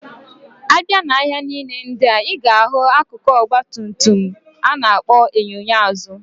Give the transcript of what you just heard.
Abia na ahia nile ndia, iga ahu akụkụ Ọgba tum tum ana akpo enyo enyo azu.